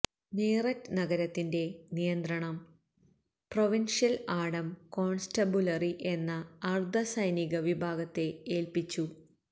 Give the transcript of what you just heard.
മീറത്ത് നഗരത്തിന്റെ നിയന്ത്രണം provincial armed constabulary എന്ന അര്ധ സൈനിക വിഭാഗത്തെ ഏല്പ്പിച്ചു